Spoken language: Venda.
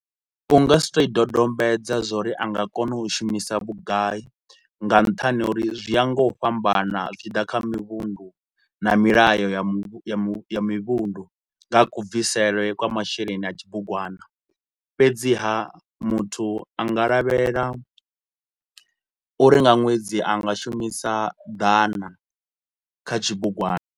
U nga si tou i dodombedza zwa uri a nga kona u shumisa vhugai, nga nṱhani ha uri zwi ya nga u fhambana zwi tshi ḓa kha mivhundu na milayo ya muvhu mivhundu nga ha ku bvisele kwa masheleni a tshibugwana. Fhedziha muthu a nga lavhelela uri nga ṅwedzi a nga shumisa ḓana kha tshibugwana.